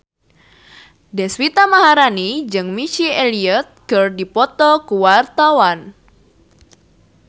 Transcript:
Deswita Maharani jeung Missy Elliott keur dipoto ku wartawan